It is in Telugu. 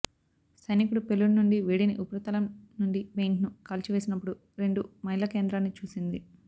సైనికుడు పేలుడు నుండి వేడిని ఉపరితలం నుండి పెయింట్ను కాల్చివేసినపుడు రెండు మైళ్ళ కేంద్రాన్ని చూసింది